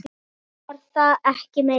Svo var það ekki meira.